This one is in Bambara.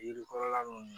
Yiri kɔrɔla ninnu